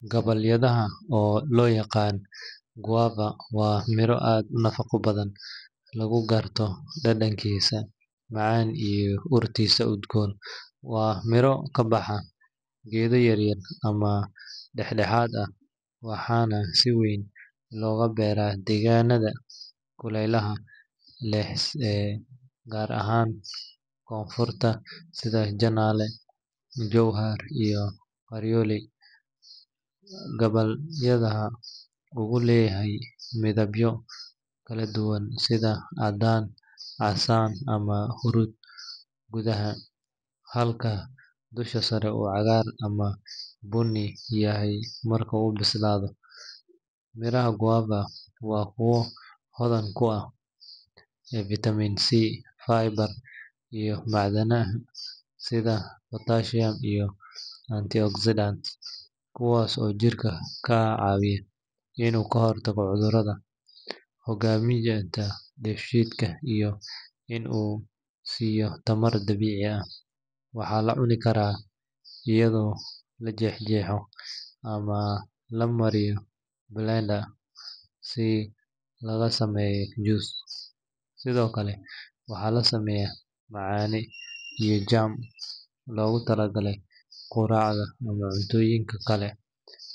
Gabbaldayaha – oo loo yaqaan guava – waa miro aad u nafaqo badan, laguna garto dhadhankiisa macaan iyo urtiisa udgoon. Waa miro ka baxa geedo yaryar ama dhexdhexaad ah, waxaana si weyn looga beeraa deegaanada kulaylaha leh ee Koonfurta sida Janaale, Jowhar, iyo Qoryooley. Gabbaldayaha wuxuu leeyahay midabyo kala duwan sida caddaan, casaan, ama huruud gudaha, halka dusha sare uu cagaar ama bunni yahay marka uu bislaado. Midhaha guava waa kuwo hodan ku ah vitamin C, fiber, iyo macdanaha sida potassium iyo antioxidants, kuwaas oo jirka ka caawiya in uu ka hortago cudurrada, hagaajiyo dheefshiidka, iyo in uu siiyo tamar dabiici ah. Waxaa la cuni karaa iyadoo la jeexjeexo ama la mariyo blender si laga sameeyo juice. Sidoo kale, waxaa laga sameeyaa macaane iyo jam loogu talagalay quraacda ama cuntooyinka kale.